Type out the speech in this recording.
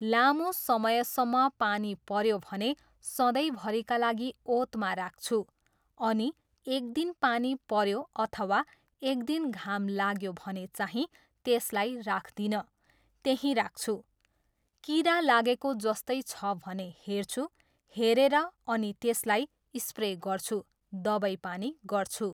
लामो समयसम्म पानी पऱ्यो भने सधैँभरिका लागि ओतमा राख्छु। अनि एक दिन पानी पऱ्यो अथवा एक दिन घाम लाग्यो भने चाहिँ त्यसलाई राख्दिनँ, त्यहीँ राख्छु। किरा लागेको जस्तै छ भने हेर्छु, हेरेर अनि त्यसलाई स्प्रे गर्छु, दबाईपानी गर्छु।